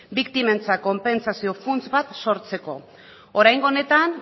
biktimentzat konpentsazio funts bat sortzeko oraingo honetan